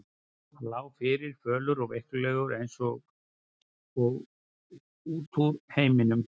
Hann lá fyrir, fölur og veiklulegur og eins og út úr heiminum.